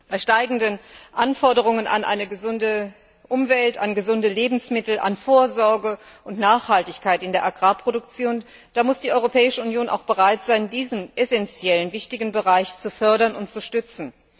Bei steigenden Anforderungen an eine gesunde Umwelt, an gesunde Lebensmittel, an Vorsorge und Nachhaltigkeit in der Agrarproduktion muss die Europäische Union auch bereit sein, diesen essentiellen Bereich zu fördern und zu stützen.